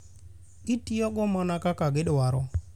Gitiyogo mana kaka gidwaro.